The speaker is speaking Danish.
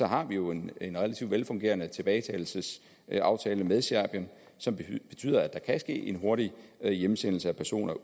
har vi jo en relativt velfungerende tilbagetagelsesaftale med serbien som betyder at der kan ske en hurtig hjemsendelse af personer